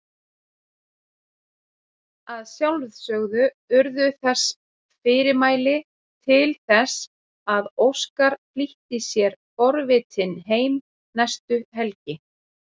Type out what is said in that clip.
Að sjálfsögðu urðu þess fyrirmæli til þess að Óskar flýtti sér forvitinn heim næstu helgi.